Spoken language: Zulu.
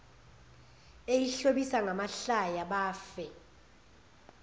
eyihlobisa ngamahlaya bafe